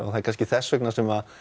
það er kannski þess vegna sem